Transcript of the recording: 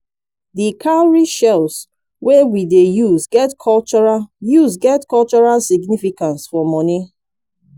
di cowrie shells wey we dey use get cultural use get cultural significance for money